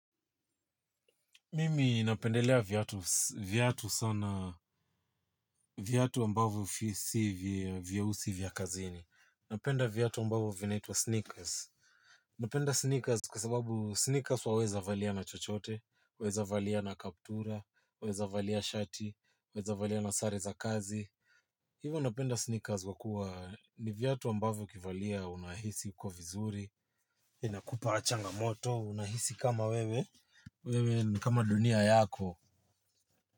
Mimi napendelea viatu sana, viatu ambavyo si vyeusi vya kazini. Napenda viatu ambavyo vinaitwa sneakers. Napenda sneakers kwa sababu sneakers waweza valia na chochote, waweza valia na kaptura, waweza valia shati, waweza valia na sare za kazi. Hivo napenda sneakers kwa kuwa ni viatu ambavyo ukivalia unahisi uko vizuri. Inakupa changamoto, unahisi kama wewe, wewe ni kama dunia yako.